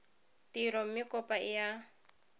tiro mme kopo e a